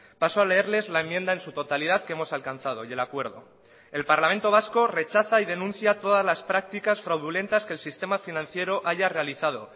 paso a leerles la enmienda en su totalidad que hemos alcanzado y el acuerdo el parlamento vasco rechaza y denuncia todas las prácticas fraudulentas que el sistema financiero haya realizado